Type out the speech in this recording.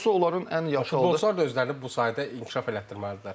Çoxsu onların ən yaxşı futbolçular özlərini bu sahədə inkişaf elətdirməlidirlər.